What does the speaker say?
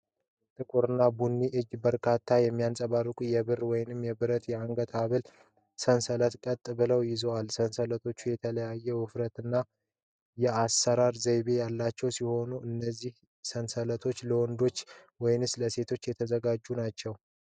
ጥቁር ቡኒ እጅ በርካታ የሚያንፀባርቁ የብር (ወይም ብረት) የአንገት ሐብል ሰንሰለቶችን ቀጥ ብለው ይዟል። ሰንሰለቶቹ የተለያዩ ውፍረትና የአሠራር ዘይቤ ያላቸው ሲሆን፣ እነዚህ ሰንሰለቶች ለወንዶች ወይስ ለሴቶች የተዘጋጁ ናቸው?